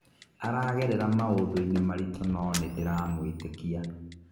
Aragerera maũndũ-inĩ maritũ no nĩndĩramwĩtĩkia.